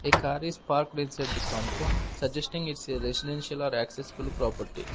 a car is parked inside the compound suggesting its a residential or accessible property.